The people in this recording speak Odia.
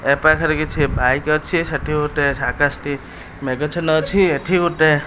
ୟେ ପାଖେ କିଛି ବାଇକ୍ ଅଛି ସେଠି ଗୋଟେ ଆକାଶ ଟି ମେଘଛିନ ଅଛି ଏଠି ଗୋଟେ --